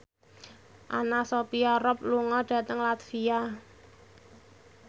Anna Sophia Robb lunga dhateng latvia